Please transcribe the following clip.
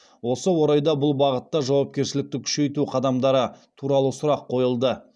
осы орайда бұл бағытта жауапкершілікті күшейту қадамдары туралы сұрақ қойылды